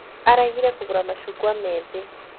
Aregire kũgũra mashungwa meethĩ